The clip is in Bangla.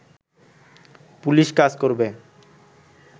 পুলিশ কাজ করবে